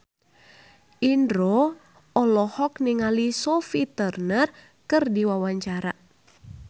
Indro olohok ningali Sophie Turner keur diwawancara